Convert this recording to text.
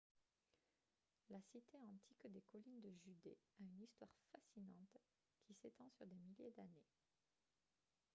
la cité antique des collines de judée a une histoire fascinante qui s'étend sur des milliers d'années